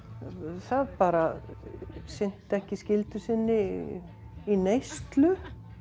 það bara sinnti ekki skyldu sinni í neyslu